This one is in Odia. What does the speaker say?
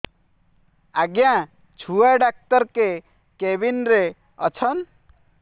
ଆଜ୍ଞା ଛୁଆ ଡାକ୍ତର କେ କେବିନ୍ ରେ ଅଛନ୍